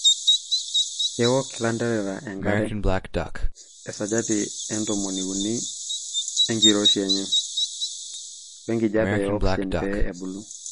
Kewok ilanterera enkare (esajata etomoni uni enkiroshii enyee) wee nkijiape e oxygen pee ebulu.